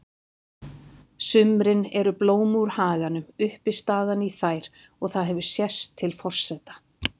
sumrin eru blóm úr haganum uppistaðan í þær og það hefur sést til forseta